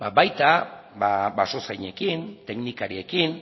baita basozainekin teknikariekin